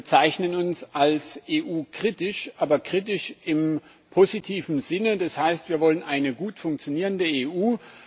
Wir bezeichnen uns als EU kritisch, aber kritisch im positiven Sinne, das heißt, wir wollen eine gut funktionierende EU.